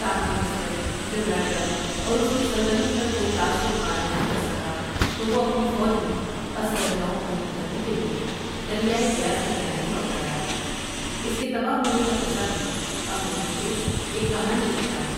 تاہم جسرت جب راجا اور اس کی سلطنت پر کوئی تاثر قائم نہ کر سکا تو وہ اپنی فوج میں ازسر نو بھرتی کرنے کے لیے دریائے بیاس کی جانب لوٹ آیا اس کے تباہ ہونے کا قصہ بھی اپنے پیچھے ایک کہانی رکھتا ہے۔